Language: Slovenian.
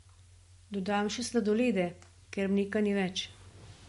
Dodam še sladolede, ker mleka ni več.